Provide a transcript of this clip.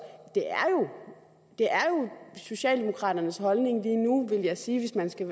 det er jo socialdemokraternes holdning lige nu vil jeg sige hvis man skal